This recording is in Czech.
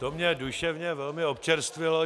To mě duševně velmi občerstvilo.